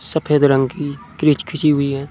सफेद रंग की क्रीच खिची हुई है।